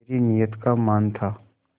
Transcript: मेरी नीयत का मान था